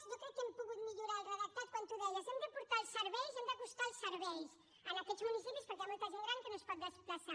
jo crec que hem pogut millorar el redactat quan tu deies hem de portar els serveis hem d’acostar els serveis a aquests municipis perquè hi ha molta gent gran que no es pot desplaçar